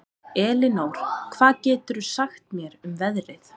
Elinór, hvað geturðu sagt mér um veðrið?